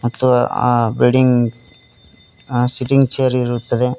ಮತ್ತು ಆ ಬಿಲ್ಡಿಂಗ್ ಅ ಸೆಟ್ಟಿಂಗ್ ಚೇರ್ ಇರುತ್ತದೆ.